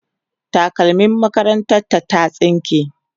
takalmim makarantar ta ta tsinke